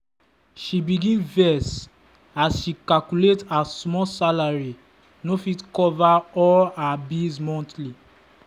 she begin vex as she calculate her small salary no fit cover all her bills monthly.